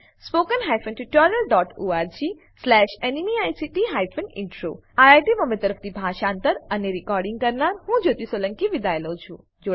httpspoken tutorialorgNMEICT Intro IIT Bombay તરફથી હું જ્યોતી સોલંકી વિદાય લઉં છું